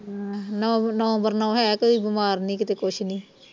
ਹਾ ਨੌ ਨੌ ਬਰ ਨੌ ਹੈ ਕੋਈ ਬਿਮਾਰ ਨੀ ਕਿਤੇ ਕੁਛ ਨਹੀਂ